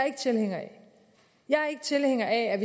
ikke tilhænger af jeg er ikke tilhænger af at